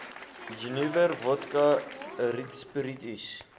jenewer wodka rietsppiritus